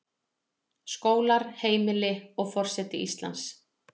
Skólar, heimili, og forseti Íslands.